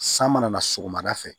San mana na sɔgɔmada fɛ